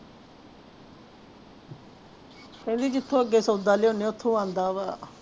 ਕਹਿੰਦੀ ਜਿੱਥੋਂ ਅੱਗੋਂ ਸੌਦਾ ਲਿਆਉਂਦੇ ਹਾਂ ਉੱਥੋਂ ਆਉਂਦਾ ਵਾ।